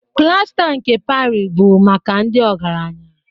Plasta nke Parị bụ maka ndị ọgaranya